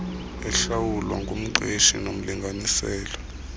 ehlawulwa ngumqeshi nomlinganiselo